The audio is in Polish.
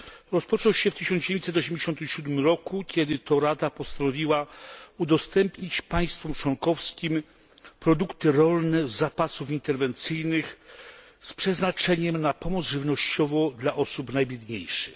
Rozpoczął się w 1987 roku, kiedy to Rada postanowiła udostępnić państwom członkowskim produkty rolne z zapasów interwencyjnych z przeznaczeniem na pomoc żywnościową dla osób najbiedniejszych.